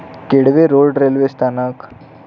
Kelve road railway स्थानक